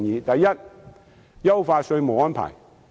第一，優化稅務安排。